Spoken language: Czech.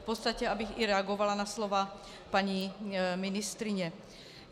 V podstatě abych i reagovala na slova paní ministryně.